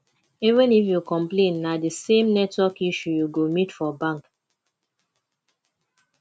even if yu complain na di same network issue yu go meet for bank